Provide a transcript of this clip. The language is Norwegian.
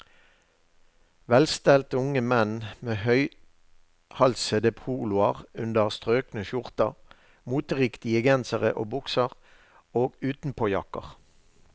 Velstelte unge menn med høyhalsede poloer under strøkne skjorter, moteriktige gensere og bukser og utenpåjakker.